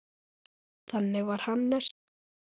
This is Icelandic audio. Þannig var Hannes.